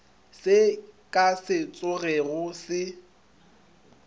se ka se tsogego se